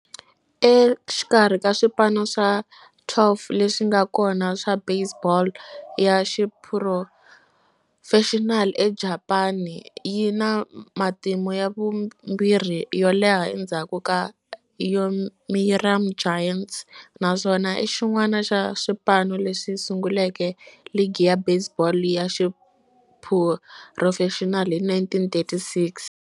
Exikarhi ka swipano swa 12 leswi nga kona swa baseball ya xiphurofexinali eJapani, yi na matimu ya vumbirhi yo leha endzhaku ka Yomiuri Giants, naswona i xin'wana xa swipano leswi sunguleke ligi ya baseball ya xiphurofexinali hi 1936.